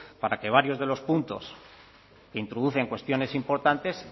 para que varios de los puntos que introducen cuestiones importantes